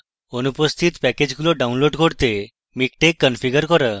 অনুপস্থিত প্যাকেজগুলি download করতে miktex configure করা